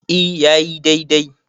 e ya yi dai-dai